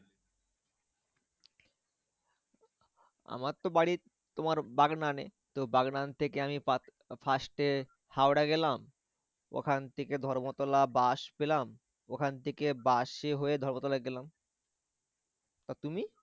আমার তো বাড়ি তোমার বাগনান এ তো বাগনান থেকে আমি first এ হাওড়া গেলাম ওখান থেকে ধর্মতলা বাস পেলাম। ওখান থেকে বাসে হয়ে ধর্মতলা গেলাম আর তুমি?